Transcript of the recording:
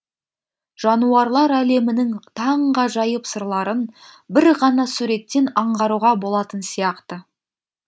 жануарлар әлемінің таңғажайып сырларын бір ғана суреттен аңғаруға болатын сияқты